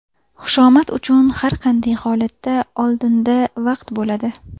Xushomad uchun har qanday holatda oldinda vaqt bo‘ladi.